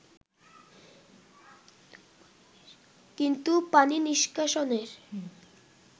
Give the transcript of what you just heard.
কিন্তু পানি নিষ্কাশনের